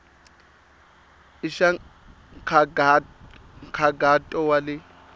i xa nkhaqato wa le